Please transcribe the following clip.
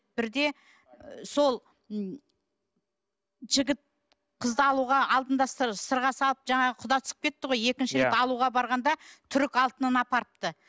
бірде сол м жігіт қызды алуға сырға салып жаңағы құда түсіп кетті ғой екінші рет алуға барғанда түрік алтынын апарыпты